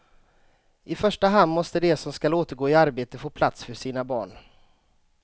I första hand måste de som skall återgå i arbete få plats för sina barn.